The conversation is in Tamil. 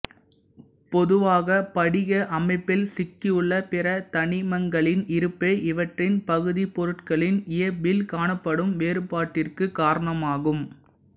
பொதுவாக படிக அமைப்பில் சிக்கியுள்ள பிற தனிமங்களின் இருப்பே இவற்றின் பகுதிப்பொருட்களின் இயைபில் காணப்படும் வேறுபாட்டிற்கு காரணமாகும்